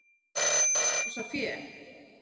Átti að losa fé